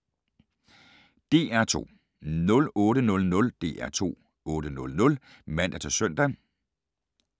DR2